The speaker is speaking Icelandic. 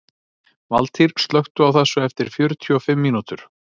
Valtýr, slökktu á þessu eftir fjörutíu og fimm mínútur.